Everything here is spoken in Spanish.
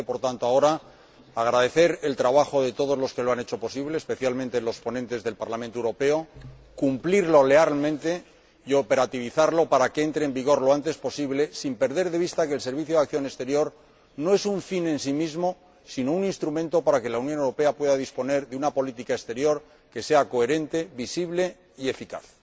Procede, por tanto, ahora, agradecer el trabajo de todos los que lo han hecho posible, especialmente los ponentes del Parlamento Europeo, cumplirlo lealmente y hacerlo operativo para que entre en vigor lo antes posible, sin perder de vista que el Servicio Europeo de Acción Exterior no es un fin en sí mismo, sino un instrumento para que la Unión Europea pueda disponer de una política exterior que sea coherente, visible y eficaz.